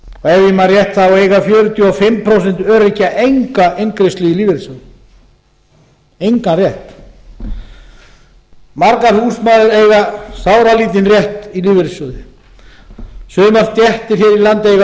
ef ég man rétt eiga fjörutíu og fimm prósent öryrkja enga inngreiðslu í lífeyrissjóð engan rétt margar húsmæður eiga sáralítinn rétt í lífeyrissjóði sumar stéttir í landi eiga sáralítinn rétt í lífeyrissjóði sumar stéttir eiga